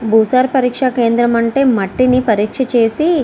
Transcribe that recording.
భూసార పరీక్ష కేంద్రం అంటే మట్టిని పరీక్ష చేసి --